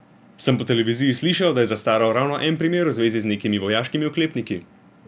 Sem po televiziji slišal, da je zastaral ravno en primer v zvezi z nekimi vojaškimi oklepniki.